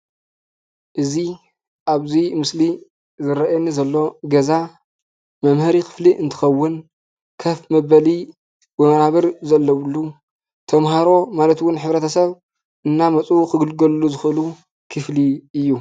እዚ ኣብዚ ምስሊ ዝረኣየኒ ዘሎ ገዛ መምሀሪ ኽፍሊ እንትኽውን፣ ከፍ መበሊ ወናብር ዘለውሉ፣ ተምሃሮ ማለት ውን ሕብረተሰብ እናመፁ ኽግልገልሉ ዝኽእሉ ክፍሊ እዩ።